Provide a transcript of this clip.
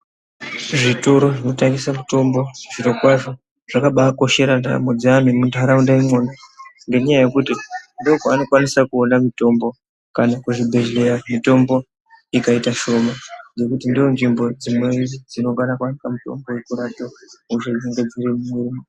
Zvitoro zvinotengese mitombo zvirokwazvo zvakabaakoshera ntamo dzeani emuntaraunda imwona ngendaya yekuti ndomwaanokwanisa kuona mitombo kazhi kuzvibhedhleya mitombo ikaita mishoma nekuti ndonzvimbo dzino dzinokwarakwada mitombo yekurape hosha dzinenge dziri mumwiri.